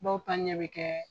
Bɔw pa ɲɛ bɛ kɛ